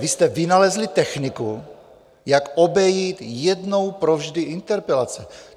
Vy jste vynalezli techniku, jak obejít jednou provždy interpelace.